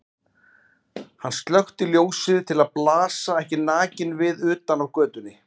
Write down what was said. Hann slökkti ljósið til að blasa ekki nakinn við utan af götunni.